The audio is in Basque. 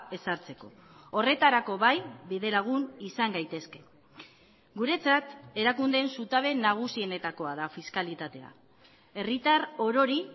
ezartzeko horretarako bai bide lagun izan gaitezke guretzat erakundeen zutabe nagusienetakoa da fiskalitatea herritar orori